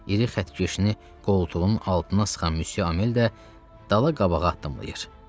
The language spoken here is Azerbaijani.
İri xətkeşini qoltuğunun altına sıxan Müsye Amel də dala-qabağa addımlayır.